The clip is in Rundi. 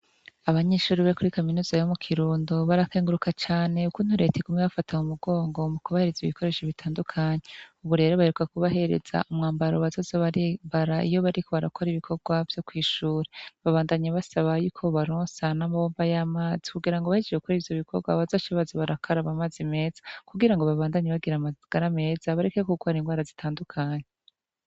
Abanyishuri be kuri kaminuza yabo mu kirundo barakenguruka cane uko untureta igume bafatam umugongo mu kubahereza ibikoresho bitandukanyi uburere baiuwa kubahereza umwambaro bazazo abara iyo bariko barakora ibikorwa vyo kw'ishura babandanyi basaba yuko bubaronsa n'amabomba y'amazi kugira ngo bahijeje kukura ivyo bikorwa baza ashabazi barakara aba, maze meza kugira ngo babandanyi bagira amagara ameza barekek ukwara ingwara zitandukanye.